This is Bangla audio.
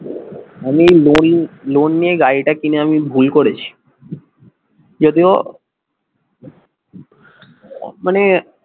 আমি লোন লোন নিয়ে গাড়িটা কিনে আমি ভুল করেছি যদিও মানে